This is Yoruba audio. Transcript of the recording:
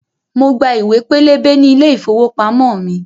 Mo gba ìwé pélébé ní ilé ìfowópamọ́ mi